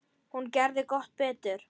Hún gerði gott betur.